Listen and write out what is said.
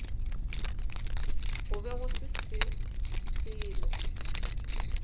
go be go se selo